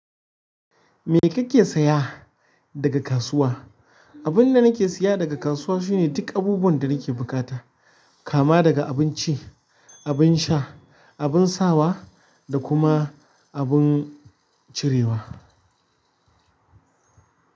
Me kake saya daga kasuwa? Abinda nake siya daga kasuwa shine duk abubuwan da na ke buƙata. Kama saga abinci abin sha abin sawa da kuma abin cirewa.